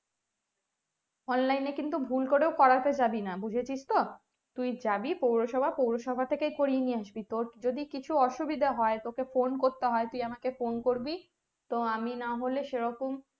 online কিন্তু ভুল করেও পড়াতে যাবি না বুঝেছিস তো তুই যাবি পৌরসভা পৌরসভা থেকে পরিয়ে নিয়ে আসবি তোর যদি কোনো কিছু অসুবিধা হয় তোকে phone করতে হয় তুই আমাকে phone করবি তো আমি না হলে সেরকম